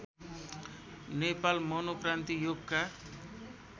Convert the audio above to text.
नेपाल मनोक्रान्ति योगका